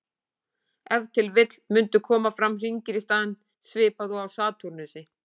Ef til vill mundu koma fram hringir í staðinn, svipað og á Satúrnusi.